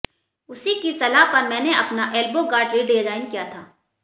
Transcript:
उसी की सलाह पर मैंने अपना एल्बो गार्ड रिडिजाइन किया था